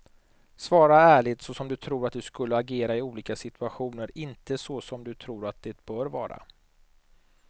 Svara ärligt så som du tror att du skulle agera i olika situationer, inte så som du tror att det bör vara.